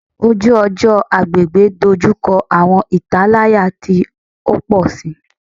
Oju-ọjọ / agbegbe dojukọ awọn italaya ti o pọ si